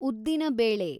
ಉದ್ದಿನ ಬೇಳೆ